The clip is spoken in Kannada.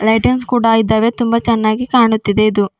ಲೈಟಿಂಗ್ಸ್ ಕೂಡ ಇದಾವೆ ತುಂಬಾ ಚೆನ್ನಾಗಿ ಕಾಣುತ್ತಾ ಇದೆ.